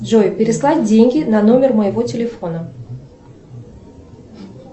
джой переслать деньги на номер моего телефона